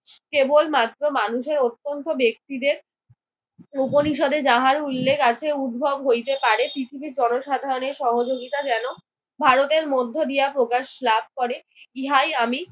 কেবলমাত্র মানুষের অত্যন্ত ব্যক্তিদের রুপনিষদে যাহার উল্লেখ আছে উদ্ভব হইতে পারে। পৃথিবীর জনসাধারণের সহযোগিতা যেন ভারতের মধ্য দিয়া প্রকাশ লাভ করে ইহাই আমি